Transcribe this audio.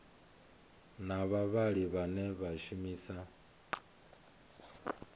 na vhavhali vhane vha shumisa